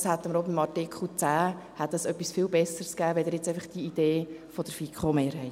Dies hätte auch beim Artikel 10 etwas viel Besseres ergeben als jetzt einfach diese Idee der FiKo-Mehrheit.